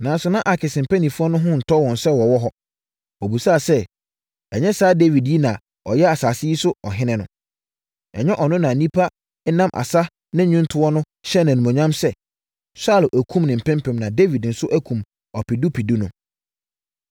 Nanso, na Akis mpanimfoɔ no ho ntɔ wɔn sɛ ɔwɔ hɔ. Wɔbisaa sɛ, “Ɛnyɛ saa Dawid yi na ɔyɛ asase yi so ɔhene no? Ɛnyɛ ɔno na nnipa nam asa ne nnwontoɔ so hyɛɛ no animuonyam sɛ, ‘Saulo akum ne mpempem na Dawid nso akum ɔpedupedu no?’ ”